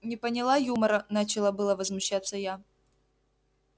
не поняла юмора начала было возмущаться я